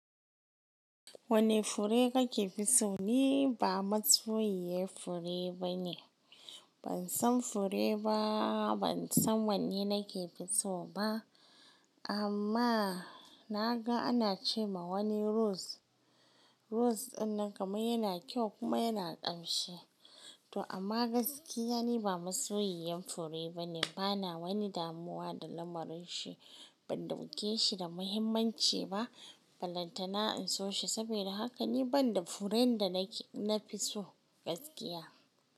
Wane fure kake fiso? Ni ba masoyiyar fure bane. Ban san fure ba, ban san wanne nake fiso ba. Amma naga ana ce ma wani rose, rose dinnan kamar yana kyau kuma yana ƙamshi. To amma gaskiya ni ba masoyiyan fure bane. Bana wani damuwa da lamarin shi. Ban dauke shi da muhimmanci ba. Ba lantana in so shi. Saboda haka ni ban da furen da na fi so gaskiya.